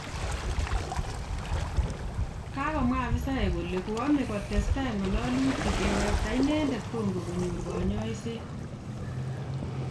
Kagomwa afisaek kole koome kotesetai ngalalyutik kewekta inendet congo konyor kanyaiset